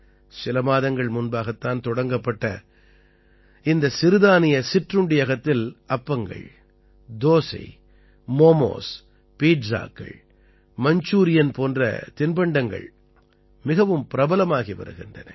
சில மாதங்கள் முன்பாகத் தான் தொடங்கப்பட்ட இந்த சிறுதானிய சிற்றுண்டியகத்தில் அப்பங்கள் தோசை மோமோஸ் பீட்ஸாக்கள் மஞ்சூரியன் போன்ற தின்பண்டங்கள் மிகவும் பிரபலமாகி வருகின்றன